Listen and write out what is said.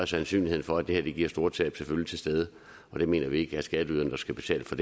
sandsynligheden for at det her giver store tab selvfølgelig til stede og det mener vi ikke skatteyderne skal betale for